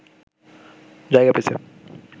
জায়গা পেয়েছে